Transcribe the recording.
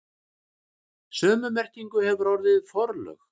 Sömu merkingu hefur orðið forlög.